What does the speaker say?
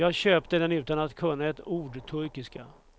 Jag köpte den utan att kunna ett ord turkiska.